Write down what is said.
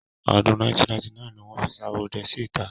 Ọdún 1999 ni fi Ṣaworoidẹ sí ìta.